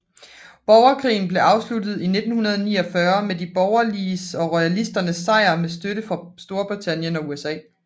Borgerkrigen blev afsluttet i 1949 med de borgerliges og royalisternes sejr med støtte fra Storbritannien og USA